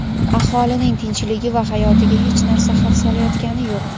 aholining tinchligi va hayotiga hech narsa xavf solayotgani yo‘q.